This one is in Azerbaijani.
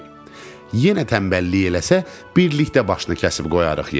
Yenə tənbəllik eləsə, birlikdə başını kəsib qoyarıq yerə.